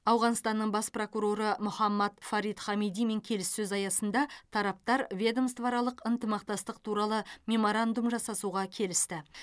ауғанстанның бас прокуроры мохаммад фарид хамидимен келіссөз аясында тараптар ведомствоаралық ынтымақтастық туралы меморандум жасасуға келісті